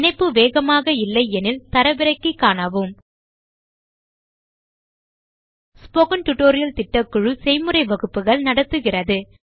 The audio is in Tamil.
இணைப்பு வேகமாக இல்லையெனில் தரவிறக்கி காணவும் ஸ்போக்கன் டியூட்டோரியல் திட்டக்குழு செய்முறை வகுப்புகள் நடத்துகிறது